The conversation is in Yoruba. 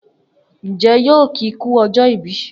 Njẹ yóò ki ku ọjọ ìbí?